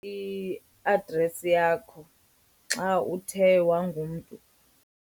I-address yakho xa uthe wangumntu.